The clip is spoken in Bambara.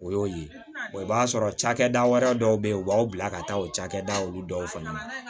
O y'o ye i b'a sɔrɔ cakɛda wɛrɛ dɔw bɛ ye u b'aw bila ka taa o cakɛda olu dɔw fana ma